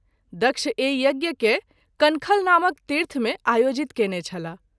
दक्ष एहि यज्ञ के कनखल नामक तीर्थ में आयोजित कएने छलाह।